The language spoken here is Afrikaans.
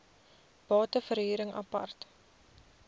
bate verhuring apart